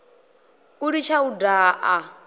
u litsha u daha a